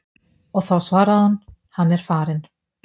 og þá svaraði hún: Hann er farinn.